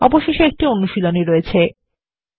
অবশেষে একটি অনুশীলনী রয়েছে